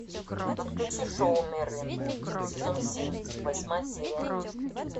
подключи шоу мерлин сезон семь восьмая серия